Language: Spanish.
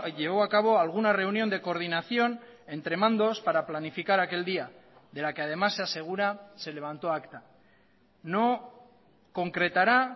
llevó a cabo alguna reunión de coordinación entre mandos para planificar aquel día de la que además se asegura se levantó acta no concretará